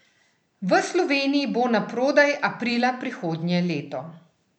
V Sloveniji bo naprodaj aprila prihodnje leto.